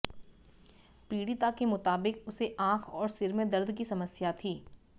पीडि़ता के मुताबिक उसे आंख और सिर में दर्द की समस्या थी